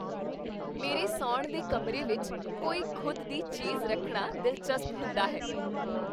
ਮੇਰੇ ਸੌਣ ਦੇ ਕਮਰੇ ਵਿੱਚ ਕੋਈ ਖੁਦ ਦੀ ਚੀਜ਼ ਰੱਖਣਾ ਦਿਲਚਸਪ ਹੁੰਦਾ ਹੈ।